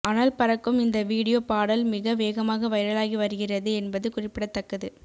அனல் பறக்கும் இந்த வீடியோ பாடல் மிக வேகமாக வைரலாகி வருகிறது என்பது குறிப்பிடத்தக்கது